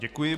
Děkuji.